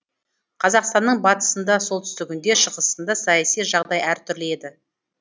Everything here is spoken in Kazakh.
қазақстанның батысында солтүстігінде шығысында саяси жағдай әр түрлі еді